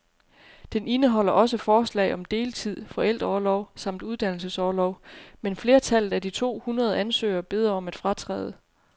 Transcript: Den indeholder også forslag om deltid, forældreorlov samt uddannelsesorlov, men flertallet af de to hundrede ansøgere beder om at fratræde.